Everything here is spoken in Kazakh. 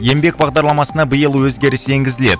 еңбек бағдарламасына биыл өзгеріс енгізіледі